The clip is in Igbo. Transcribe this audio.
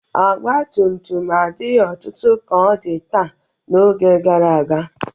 Ọgbatumtum adighị ọtụtụ ka ọ dị taa n'oge gara aga.